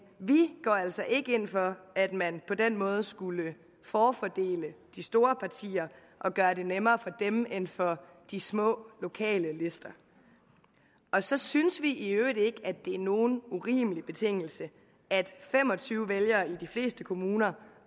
vi går altså ikke ind for at man på den måde skulle forfordele de store partier og gøre det nemmere for dem end for de små lokale lister så synes vi i øvrigt ikke det er nogen urimelig betingelse at fem og tyve vælgere i de fleste kommuner